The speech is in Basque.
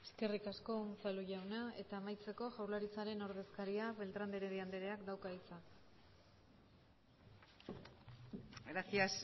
eskerrik asko unzalu jauna eta amaitzeko jaurlaritzaren ordezkariak beltrán de heredia andreak dauka hitza gracias